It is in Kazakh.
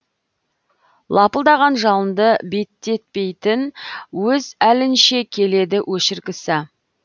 лапылдаған жалынды беттетпейтін өз әлінше келеді өшіргісі